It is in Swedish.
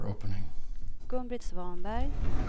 Gun-Britt Svanberg